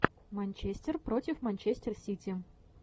манчестер против манчестер сити